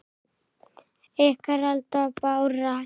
Ykkar, Alda og Bára.